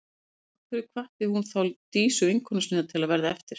Af hverju hvatti hún þá Dísu, vinkonu sína, til að verða eftir?